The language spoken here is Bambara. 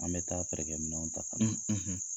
An bɛ taa feerekɛminɛw ta ka na.